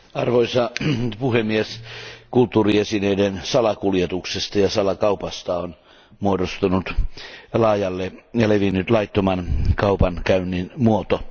Arvoisa puhemies, kulttuuriesineiden salakuljetuksesta ja salakaupasta on muodostunut laajalle levinnyt laittoman kaupankäynnin muoto.